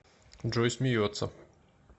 джой смеется